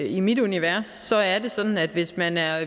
i mit univers er det sådan at hvis man er